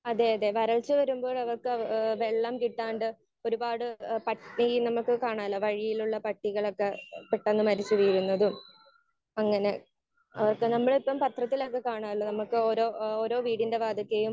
Speaker 1 അതെ അതെ വരൾച്ച വരുമ്പോൾ അവർക്ക് ഏഹ് വെള്ളം കിട്ടാണ്ട് ഒരുപാട് പട്ടിയെ നമുക്ക് കാണാല്ലോ? വഴിയിലുള്ള പട്ടികളൊക്കെ പെട്ടെന്ന് മരിച്ചു വീഴുന്നതും അങ്ങനെ അവർക്ക് നമ്മളിപ്പോൾ പത്രത്തിലൊക്കെ കാണാറുണ്ടല്ലോ? നമുക്ക് നമ്മുടെ ഓരോ വീടിന്റെ വാതിൽക്കയും